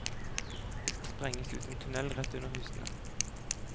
Det skal sprenges ut en tunnel rett under husene.